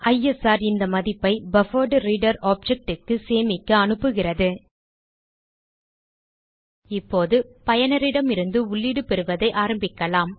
ISR இந்த மதிப்பை buffered reader object க்கு சேமிக்க அனுப்புகிறது இப்போது பயனரிடமிருந்து உள்ளீடு பெறுவதை ஆரம்பிக்கலாம்